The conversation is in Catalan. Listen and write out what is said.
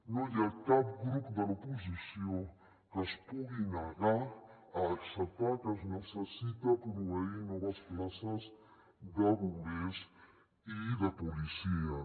no hi ha cap grup de l’oposició que es pugui negar a acceptar que es necessita proveir noves places de bombers i de policies